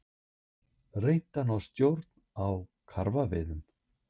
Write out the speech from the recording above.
Reynt að ná stjórn á karfaveiðum